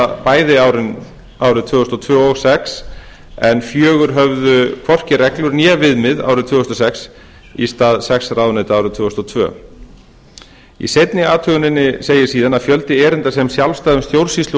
bæði árið tvö þúsund og tvö og tvö þúsund og sex en fjögur höfðu hvorki reglur né viðmið árið tvö þúsund og sex í stað sex ráðuneyta árið tvö þúsund og tvö í seinni athuguninni segir síðan að fjöldi erinda sem sjálfstæðum stjórnsýslu og